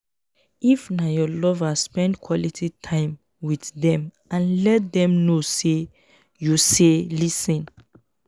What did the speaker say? if na your lover spend quality time with dem and let them know sey you sey lis ten